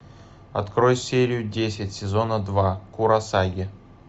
открой серию десять сезона два куросаги